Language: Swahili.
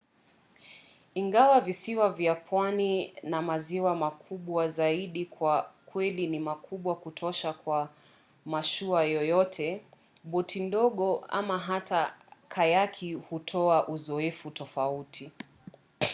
ingawa visiwa vya pwani na maziwa makubwa zaidi kwa kweli ni makubwa kutosha kwa mashua yoyote boti ndogo ama hata kayaki hutoa uzoefu tofauti